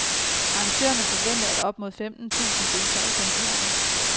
Arrangørerne forventer, at op mod femten tusind deltager i koncerten.